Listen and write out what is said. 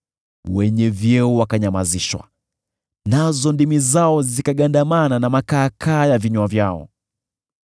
wenye vyeo wakanyamazishwa, nazo ndimi zao zikagandamana na makaakaa ya vinywa vyao.